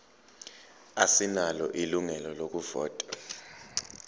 asinalo ilungelo lokuvota